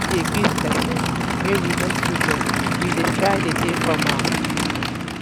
we dey greet person wey we no too know we um dey try dey formal